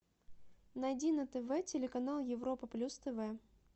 найди на тв телеканал европа плюс тв